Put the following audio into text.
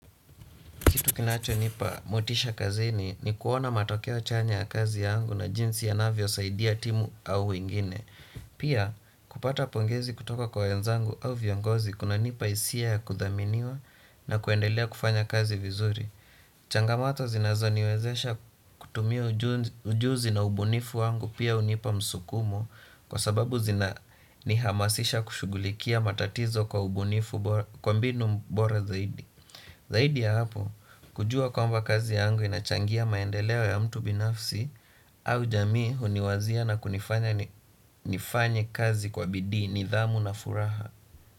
Kitu kinachonipa motisha kazini ni kuona matokeo chanya ya kazi yangu na jinsi yanavyosaidia timu au wengine. Pia kupata pongezi kutoka kwa wenzangu au viongozi kunanipa hisia ya kudhaminiwa na kuendelea kufanya kazi vizuri. Changamato zinazoniwezesha kutumia ujuzi na ubunifu wangu pia hunipa msukumo kwa sababu zinanihamasisha kushughulikia matatizo kwa ubunifu kwa mbinu bora zaidi. Zaidi ya hapo kujua kwamba kazi yangu inachangia maendeleo ya mtu binafsi au jamii huniwazia na kunifanya nifanye kazi kwa bidii nidhamu na furaha.